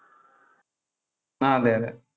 ആ അതെ അതെ.